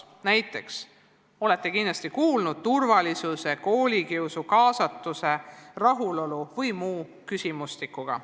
Kindlasti olete kuulnud näiteks turvalisuse, koolikiusu, kaasatuse, rahulolu või muu seesuguse küsimustikust.